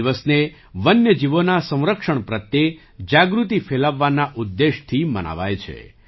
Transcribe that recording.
આ દિવસને વન્ય જીવોના સંરક્ષણ પ્રત્યે જાગૃતિ ફેલાવવાના ઉદ્દેશ્યથી મનાવાય છે